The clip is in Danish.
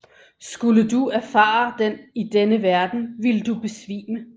Skulle du erfare den i denne verden ville du besvime